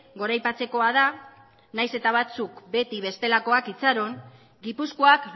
goraipatzekoa da nahiz eta batzuk beti bestelakoak itxaron gipuzkoak